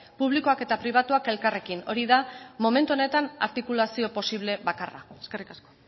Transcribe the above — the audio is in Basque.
publikoak eta pribatuak elkarrekin hori da momentu honetan artikulazio posible bakarra eskerrik asko